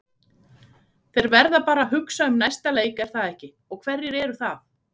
Þeir verða bara að hugsa um næsta leik er það ekki, og hverjir eru það?